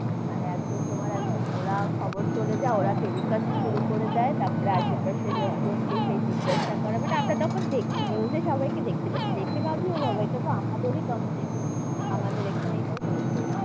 মানে একদম তোমার একদম ওরা খবর চলে যাই ওরা telecast শুরু করে দেই, তার পরে আসে পাশের লোক জন কি সেই জিজ্ঞেসা করে, মানে আমরা তখন দেখছি, news এ সবাই কে দেখতে পাচ্ছি, দেখে ভাবছি ও বাবা এটাতো আমাদেরই complex, আমাদের এখানেই তো হয়েছে,